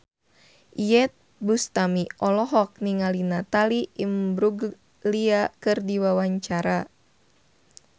Iyeth Bustami olohok ningali Natalie Imbruglia keur diwawancara